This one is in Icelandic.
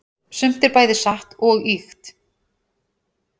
sumt er bæði satt og ýkt